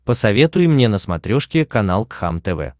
посоветуй мне на смотрешке канал кхлм тв